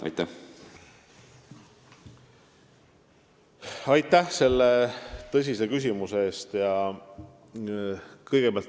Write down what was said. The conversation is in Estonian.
Aitäh selle tõsise küsimuse eest!